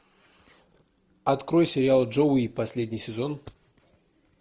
открой сериал джоуи последний сезон